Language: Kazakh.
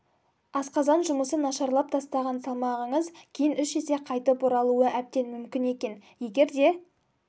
асқазан жұмысы нашарлап тастаған салмағыңыз кейін үш есе қайтып оралуы әбден мүмкін екен егер де